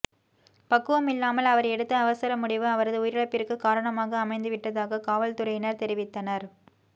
பக்குவமில்லாமல் அவர் எடுத்த அவசர முடிவு அவரது உயிரிழப்பிற்கு காரணமாக அமைந்து விட்டதாக காவல்துறையினர் தெரிவித்தனர்